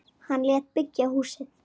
Hann lét byggja húsið.